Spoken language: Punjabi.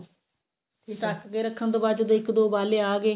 ਤੇ ਢਕ ਕੇ ਰੱਖਣ ਤੋਂ ਬਾਅਦ ਜਦੋਂ ਇੱਕ ਦੋ ਉਬਾਲੇ ਆ ਗਏ